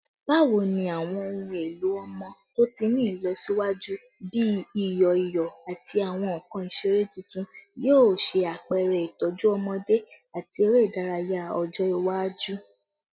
Bawo ni awọn ohun elo ọmọ to ti ni ilọsiwaju bi iyọ iyọ ati awọn nkan isere tuntun yoo ṣe apẹrẹ itọju ọmọde ati ere idaraya ọjọ iwaju?